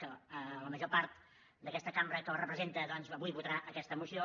que la major part d’aquesta cambra que el representa avui votarà aquesta moció